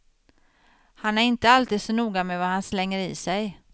Han är inte alltid så noga med vad han slänger i sig.